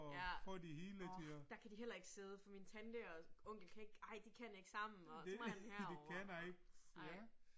Ja, orh, der kan de heller ikke sidde, for min tante og onkel kan ikke, ej de kan ikke sammen, og så må han herover. Ej